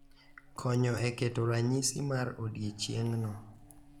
Konyo e keto ranyisi mar odiechieng’no.